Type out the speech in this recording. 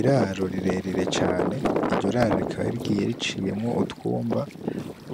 Iraro rirerire cane, iryo raro rikaba rigiye riciyemwo utwumba